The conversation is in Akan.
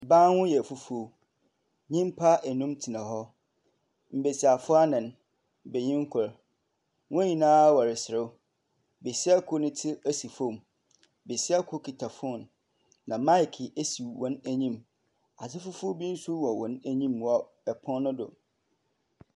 Ban ho yɛ fufuo, nnipa ɛnum tena hɔ. Mbesiafo anan benyini koro. Wɔn nyinaa ɔresrew. Besia koro ti si fɔm, besia koro kita fɔn na maeke si wɔn anim. Ade fofuo bi nso wɔ wɔn anim wɔ ɛpono no do.